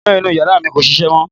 Iná inú ìyàrá mi kò ṣiṣẹ́ mọ̀